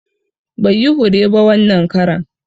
Bai yi hure ba wanan karan